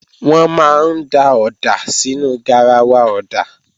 Wọ́n máa ń da ọ̀dà sínú garawa ọ̀dà